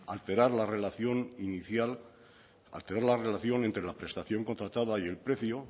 alterar la relación inicial alterar la relación entre la prestación contratada y el precio